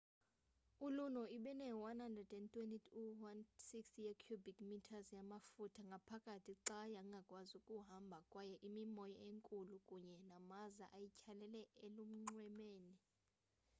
iluno ibine-120-160 ye-cubic metres yamaftuha ngaphakathi xa yangakwazi ukuhamba kwaye imimoya enkulu kunye namaza ayityhalela elunxwemeni